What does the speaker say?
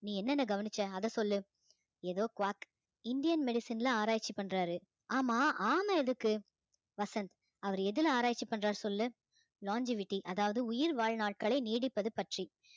நீ என்னென்ன கவனிச்ச அதைச் சொல்லு ஏதோ quad indian medicine ல ஆராய்ச்சி பண்றாரு ஆமா ஆமை எதுக்கு வசந்த் அவரு எதுல ஆராய்ச்சி பண்றாரு சொல்லு longevity அதாவது உயிர் வாழ்நாட்களை நீடிப்பது பற்றி